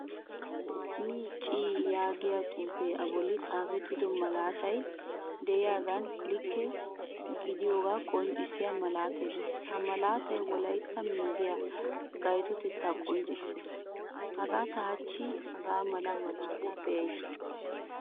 WMC yaagiyo xuufe a bollan xaafettido malaatay de'iyagan likke gidiyoga qonccissiya malattay de'ees. Ha malaattay wolaytta media gaytotettaa qonccisees. Haga ta hachchi hagaamala malaataa beaysi.